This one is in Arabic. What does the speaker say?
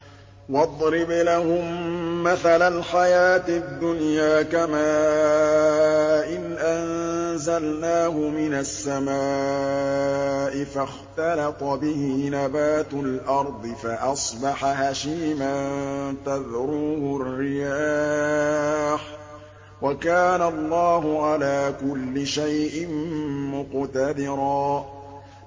وَاضْرِبْ لَهُم مَّثَلَ الْحَيَاةِ الدُّنْيَا كَمَاءٍ أَنزَلْنَاهُ مِنَ السَّمَاءِ فَاخْتَلَطَ بِهِ نَبَاتُ الْأَرْضِ فَأَصْبَحَ هَشِيمًا تَذْرُوهُ الرِّيَاحُ ۗ وَكَانَ اللَّهُ عَلَىٰ كُلِّ شَيْءٍ مُّقْتَدِرًا